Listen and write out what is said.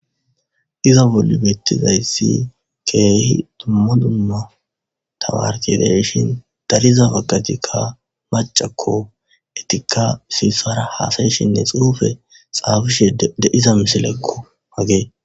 Izza bolla betizayissi kehi dumma dumma tamaretti de'ishshin darizza bagatikka macakko ettikka issi isara hasayishshenne xufe xaafishshe de'iza mossilekko.